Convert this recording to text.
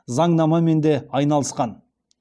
заңнамамен де айналысқан